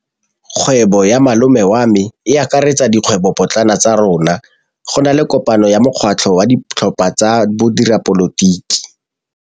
Kgwêbô ya malome wa me e akaretsa dikgwêbôpotlana tsa rona. Go na le kopanô ya mokgatlhô wa ditlhopha tsa boradipolotiki.